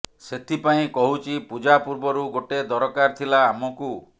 ସେଥିପାଇଁ କହୁଛି ପୂଜା ପୂର୍ବରୁ ଗୋଟେ ଦରକାର ଥିଲା ଆମକୁ